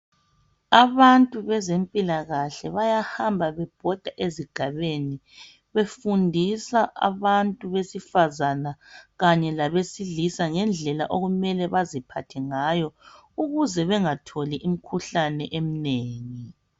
Abantu bezemphilakahle bahamva bebhoda esigabeni befundisa abantu besifazana kanye ngabedilisa ngendlela okumele baziphathe ngayo ukuze bengatholi imikhuhlane eminengi.